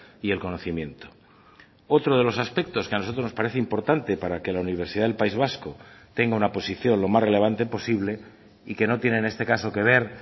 y el conocimiento otro de los aspectos que a nosotros nos parece importante para que la universidad del país vasco tenga una posición lo más relevante posible y que no tiene en este caso que ver